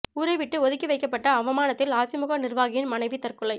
ஊரை விட்டு ஒதுக்கி வைக்கப்பட்ட அவமானத்தில் அதிமுக நிர்வாகியின் மனைவி தற்கொலை